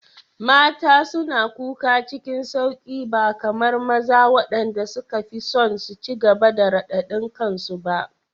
Mata suna kuka cikin sauƙi ba kamar maza waɗanda suka fi son su ci gaba da radadin kansu ba.